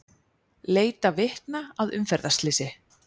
Leita vitna að umferðarslysi